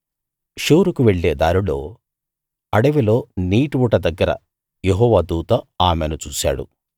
షూరుకు వెళ్ళే దారిలో అడవిలో నీటి ఊట దగ్గర యెహోవా దూత ఆమెను చూశాడు